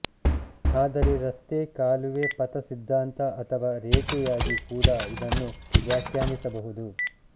ಆದರೆ ರಸ್ತೆ ಕಾಲುವೆ ಪಥ ಸಿದ್ಧಾಂತ ಅಥವಾ ರೇಖೆಯಾಗಿ ಕೂಡ ಇದನ್ನು ವ್ಯಾಖ್ಯಾನಿಸಬಹುದು